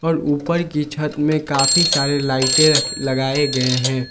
और ऊपर की छत में काफी सारे लाइटे लगाए गए हैं।